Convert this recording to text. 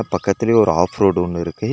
பக்கத்திலே ஒரு off road ஒன்னு இருக்கு.